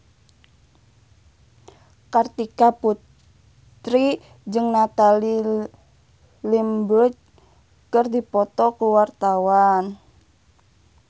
Kartika Putri jeung Natalie Imbruglia keur dipoto ku wartawan